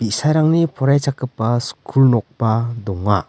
bi·sarangni poraichakgipa skul nokba donga.